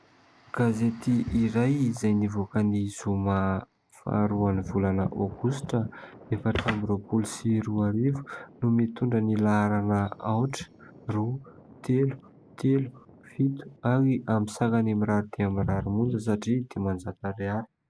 Gazety iray izay nivoaka ny zoma faharoa ny volana aogositra, efatra amby roapolo sy roa arivo no mitondra ny laharana : aotra, roa, telo, telo, fito, ary amin'ny sarany mirary dia mirary monja satria dimanjato ariary.